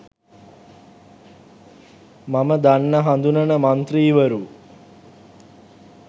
මම දන්න හඳුනන මන්ත්‍රීවරු.